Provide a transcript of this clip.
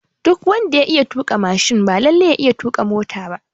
Duk wanda ya iya tuƙa mashin ba lalle ya iya tuƙa mota ba